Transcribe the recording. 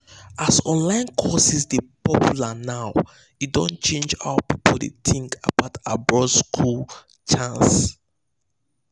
as online courses dey popular now e don change how people dey think about abroad school chance.